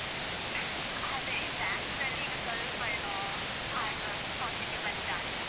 ಅದೇ Bangalore ರಲ್ಲಿ ಈಗ ಸ್ವಲ್ಪ ಏನೋ positive ಬಂದಿದಾ ಅಂತ.